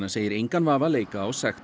segir engan vafa leika á sekt